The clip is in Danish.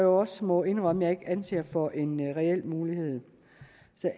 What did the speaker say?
også må indrømme jeg ikke anser for en reel mulighed